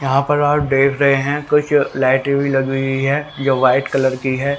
यहां पर आप देख रहे हैं कुछ लाइटें भी लगी हुई है जो वाइट कलर की है।